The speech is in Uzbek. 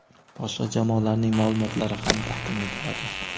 boshqa jamoalarning ma’lumotlari ham taqdim etiladi.